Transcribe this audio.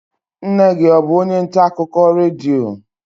Nne gị ọ bụ onye ntaakụkọ redio?